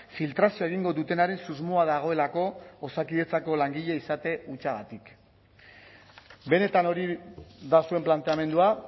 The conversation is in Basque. filtrazioa egingo dutenaren susmoa dagoelako osakidetzako langile izate hutsagatik benetan hori da zuen planteamendua